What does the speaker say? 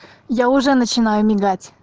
я уже начинаю мигать